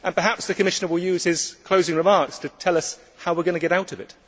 Perhaps the Commissioner will use his closing remarks to tell us how we are going to get out of it.